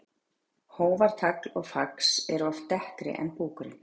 Hófar, tagl og fax eru oft dekkri en búkurinn.